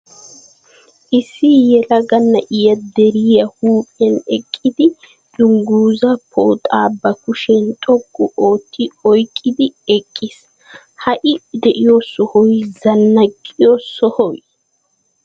Issi yelaga na'ay deriya huuphiyan eqqidi dunguzaa pooxaa ba kushiyan xoqqu ootti oyiqqidi eqqiis. Ha I de'iyo sohoy zannaqqiyo sohoy?